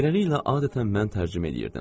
Beləliklə adətən mən tərcümə eləyirdim.